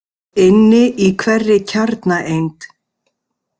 Inni í hverri kjarnaeind.